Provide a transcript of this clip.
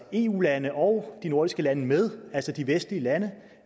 eu landene og de nordiske lande med altså de vestlige lande